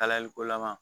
Kalayaliko lama